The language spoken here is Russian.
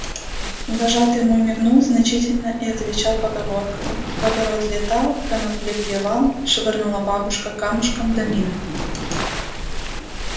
вожатый мой мигнул значительно и отвечал поговоркою в огород летал конопли клевал швырнула бабушка камушком да мимо